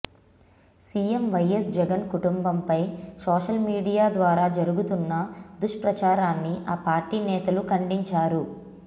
CM YS Jagan కుటుంబంపై social media ద్వారా జరుగుతున్న దుష్ప్రచారాన్ని ఆ పార్టీ నేతలు ఖండించారు